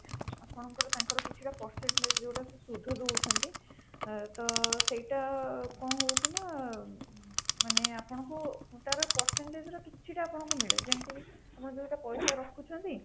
ଆପଣଙ୍କର ତାଙ୍କର କିଛି ଟା percentage ଯୋଉଟା ସେ ସୁଧ ଦଉଛନ୍ତି ତ ସେଇଟା କଣ ହଉଚି ନା ମାନେ ଆପଣଙ୍କୁ ତା ର percentage ର କିଛି ଟା ଆପଣଙ୍କୁ ମିଳେ ଯେମିତି ଆପଣ ଯୋଉଟା ପଇସା ରଖୁଛନ୍ତି